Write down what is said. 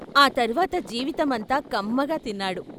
ఆ తర్వాత జీవితమంతా కమ్మగా తిన్నాడు.